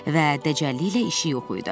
və dəcəlliklə işi yox idi.